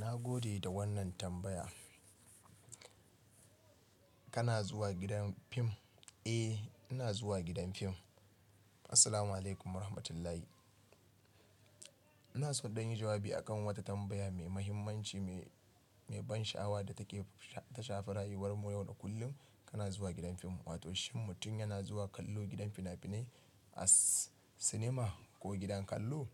Na gode da wannan tambaya. Kana zuwa gidan fim? Eh, ina zuwa gidan fim. Assalamualaikum Warahmatullahi. Ina so in ɗan yin jawabi akan wata tambaya mai mahimmanci, mai ban sha'awa da take, ta shafa rayuwar mu yau da kullum, Kana zuwa gidan fim, wato shin mutum yana zuwa kallo gidan fina-finai, as cinema ko gidan kallo?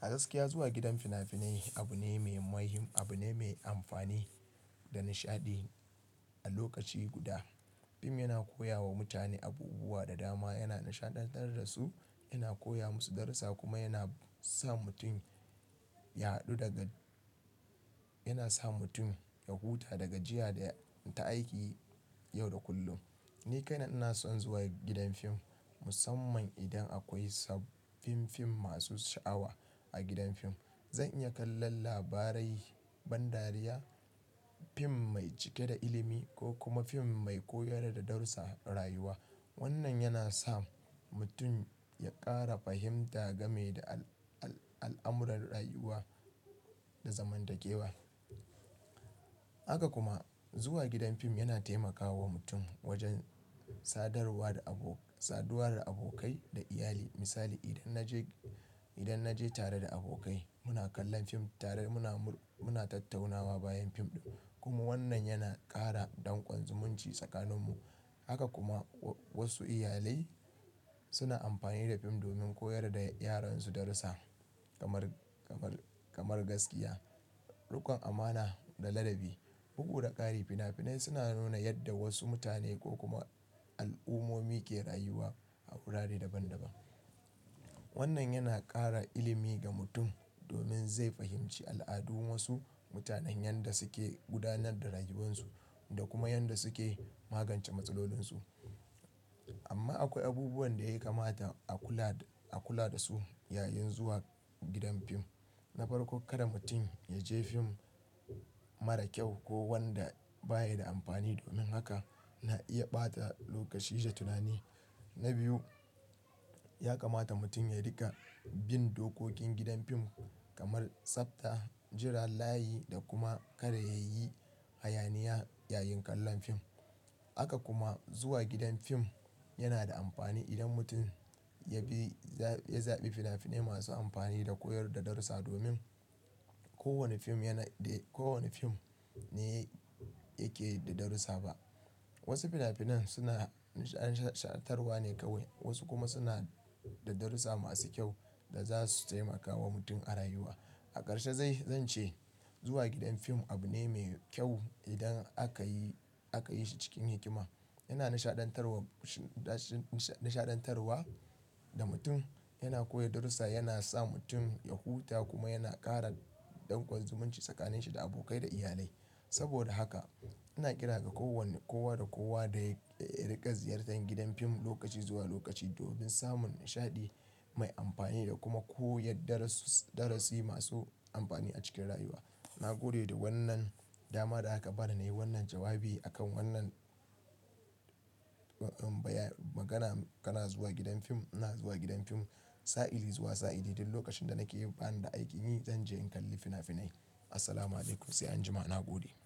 A gaskiya zuwa gidan fina-finai, abu ne mai muhim, abu ne mai amfani, da nishaɗi, a lokaci guda. Fim yana koya wa mutane abubuwa da dama, yana nishaɗantar da su, yana koya musu darusa, kuma yana sa mutum yana sa mutum, ya huta da gajiya da ta aiki, yau da kullum. Ni kaina ina son zuwa gidan fim, musamman idan akwai sabbin fim masu sha'awa, a gidan fim. Zan iya kallon labarai, ban dariya, fim mai cike da ilimi, ko kuma fim mai koyar da darussa rayuwa. Wannan yana sa mutum ya ƙara fahimta game da al'amuran rayuwa da zamantakewa. Haka kuma, zuwa gidan fim yana taimakawa mutum, wajen sadarwa da abo, saduwa da abokai da iyali. Misali, idan na je, idan naje tare da abokai, muna kallon fim tare, muna tattaunawa bayan fim ɗin. Kuma wannan yana ƙara ɗanƙon zumunci tsakaninmu. Haka kuma wasu iyalai, suna amfani da fim domin koyar da yaransu darusa, kamar gaskiya, riƙon amana, da ladabi. Bugu da ƙari, fina-finai suna nuna yadda wasu mutane ko kuma al'ummomi ke rayuwa, a wurare daban-daban. Wannan yana ƙara ilimi ga mutum, domin zai fahimci al'adun wasu mutanen yanda suke gudanar da rayuwarsu, da kuma yanda suke magance matsalolinsu. Amma akwai abubuwan da ya kamata a kula da su yayin zuwa gidan fim. Na farko, kada mutum ya je fim mara kyau, ko wanda baya da amfani domin haka na iya ɓata lokaci da tunani. Na biyu, ya kamata mutum ya riƙa bin dokokin gidan fim kamar tsafta, jiran layi, da kuma kada ya yi hayaniya yayin kallon fim. Haka kuma zuwa gidan fim yana da amfani idan mutum ya, ya zaɓi fina-finai masu amfani da koyar da darusa, domin ko wane fim yana, ko wane fim ne yake da darusa ba. Wasu fina-finan suna nishaɗantarwa ne kawai, wasu kuma suna da darusa masu kyau, da za su taimaka wa mutum a rayuwa. A ƙarshe zan, zan ce, zuwa gidan fim abu ne mai kyau, idan aka yi shi cikin hikima. Yana nishaɗantar wa, shi nishaɗantarwa ga mutum, yana koya darusa, yana sa mutum ya huta kuma yana ƙara ɗanƙon zumunci tsakaninshi da abokai da iyalai. Saboda haka, ina kira kowa da kowa da ya riƙa ziyartar gidan fim lokaci zuwa lokaci, domin samun nishaɗi, mai amfani da kuma koyar da darasi masu amfani a cikin rayuwa. Na gode da wannan dama da aka bani na yi wannan jawabi, akan wannan baya, magana Kana zuwa gidan fim? Ina zuwa gidan fim, sa'ili zuwa sa'ili. Duk lokacin da nake bani da aiki yi, zan je in kalli fina-finai. Assalamualaikum, sai anjima, na gode.